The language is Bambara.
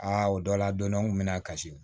Aa o dɔ la don dɔ n kun bɛ na kasi